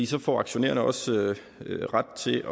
så får aktionærerne også ret til